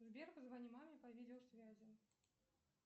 сбер позвони маме по видеосвязи